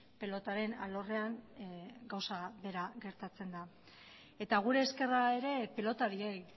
pilotaren alorrean gauza bera gertatzen da eta gure eskerra ere pilotariei